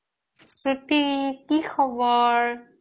শ্ৰুতি কি খবৰ